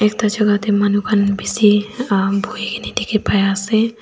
ekta Jaka tey manu khan besi aaa buhi kena dekhi pai ase.